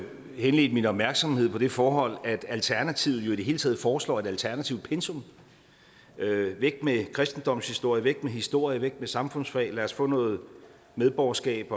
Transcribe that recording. henledte min opmærksomhed på det forhold at alternativet i det hele taget foreslår et alternativt pensum væk med kristendomshistorie væk med historie væk med samfundsfag lad os få noget medborgerskab